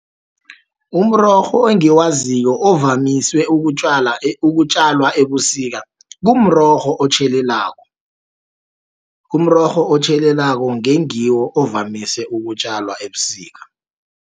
Umrorho engiwaziko ovamiswe ukutjalwa ebusika, kumrorho otjhelelako. Umrorho otjhelelako ngengiwo ovamise, ukutjalwa ebusika.